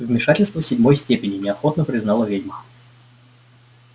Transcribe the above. вмешательство седьмой степени неохотно признала ведьма